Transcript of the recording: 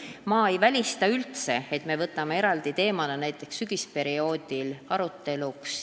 Samas ma ei välista, et me võtame selle eraldi teemana näiteks sügisperioodil arutada.